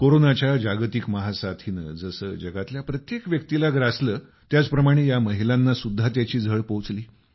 कोरोनाच्या जागतिक महासाथीनं जसं जगातल्या प्रत्येक व्यक्तीला ग्रासलं त्याचप्रमाणे या महिलांना सुद्धा त्याची झळ पोहोचली